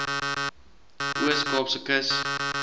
oos kaapse kus